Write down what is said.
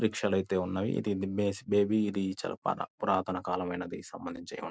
Rickshaw లైతే ఉన్నవి. ఇది బ ఇది చాలా పురాతన కాలమైనది సంబందించి అయ్యుండ --